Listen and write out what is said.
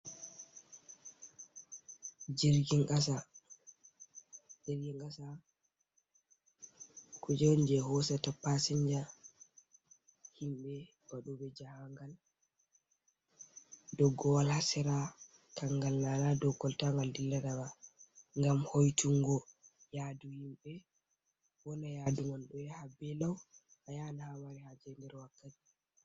Jirgin kasa jirgin kasa kuje on je hosata pasinja himbe wadobe jahangal, doggowal ha sera Kangal na dow kolta ngal dillata ba ngam hoitungo yadu himɓey wona yaduman bo yaha belau a yahan ha amari haje nder wakkati.